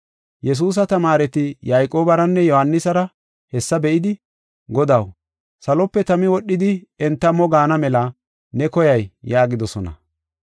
Yesuusa tamaareti Yayqoobaranne Yohaanisara hessa be7idi, “Godaw, salope tami wodhidi enta mo gaana mela ne koyay” yaagidosona.